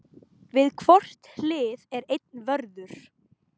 Við hvort hlið er einn vörður.